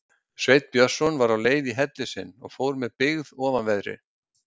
Sveinn Björnsson var á leið í helli sinn og fór með byggð ofanverðri.